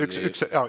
Üks hetk!